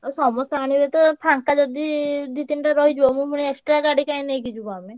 ଆଉ ସମସ୍ତେ ଆଣିବେ ତ ଫାଙ୍କା ଯଦି ଦି ତିନିଟା ରହିଯିବ ମୁଁ ପୁଣି extra ଗାଡି କାଇଁ ନେଇକି ଯିବୁ ଆମେ।